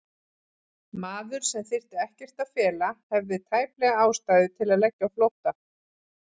Maður, sem þyrfti ekkert að fela, hafði tæplega ástæðu til að leggja á flótta?